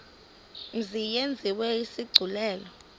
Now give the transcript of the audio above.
mzi yenziwe isigculelo